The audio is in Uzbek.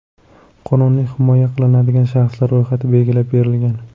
Qonunda himoya qilinadigan shaxslar ro‘yxati belgilab berilgan.